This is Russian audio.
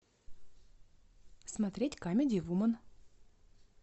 смотреть камеди вумен